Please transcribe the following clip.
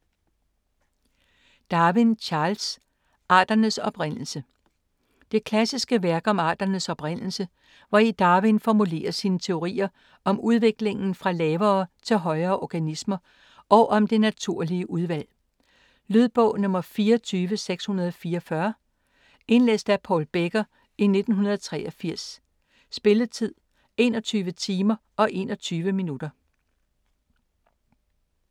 Darwin, Charles: Arternes oprindelse Det klassiske værk om arternes oprindelse, hvori Darwin formulerer sine teorier om udviklingen fra lavere til højere organismer og om det naturlige udvalg. Lydbog 24644 Indlæst af Paul Becker, 1983. Spilletid: 21 timer, 21 minutter.